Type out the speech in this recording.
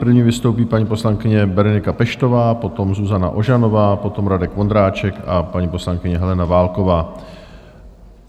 První vystoupí paní poslankyně Berenika Peštová, potom Zuzana Ožanová, potom Radek Vondráček a paní poslankyně Helena Válková.